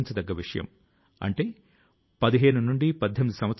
కాబట్టి మన ప్రతి వనరు ను పూర్తి గా ఉపయోగించుకోవాలి